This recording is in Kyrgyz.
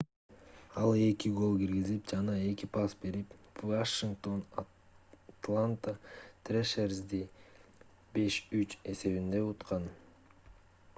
ал 2 гол киргизип жана 2 пас берип вашингтон атланта трэшерзди 5:3 эсебинде уткан